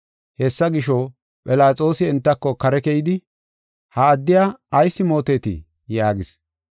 Hessa gisho, Philaxoosi entako kare keyidi, “Ha addiya ayis mootetii?” yaagis.